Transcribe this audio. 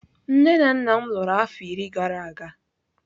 Nne na nna m lụrụ afọ iri gara aga.